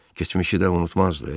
Keçmişi də unutmazdı?